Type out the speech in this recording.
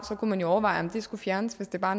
kunne man jo overveje om det skulle fjernes hvis det bare